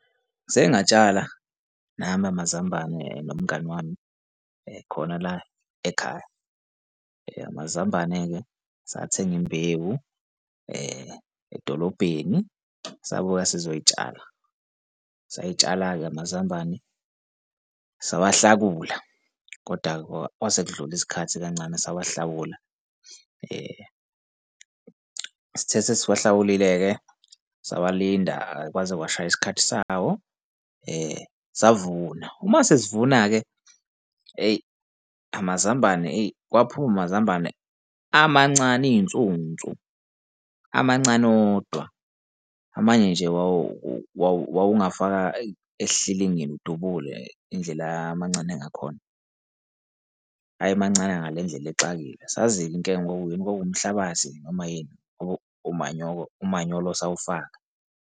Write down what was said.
Seke ngatshala nami amazambane nomngani wami khona la ekhaya. Amazambane-ke sathenga imbewu edolobheni sabuya sizoyitshala. Sayitshala-ke amazambane sawahlakula. Koda-ke kwase kudlula isikhathi kancane sawahlabula sithe sesiwahlakulile-ke sawalinda kwaze kwashaya isikhathi sawo, savuna. Uma sesivuna-ke, eyi, amazambane, eyi, kwaphuma amazambane amancane iy'nsunsu, amancane wodwa, amanye nje wawungafaka esihlilingini udubule indlela ayemancane ngakhona, ayemancane ngale ndlela exakile. Asazi-ke inkinga kwakuyini noma kwakuwumhlabathi noma yini ngoba umanyolo, umanyolo sawufaka.